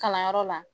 Kalanyɔrɔ la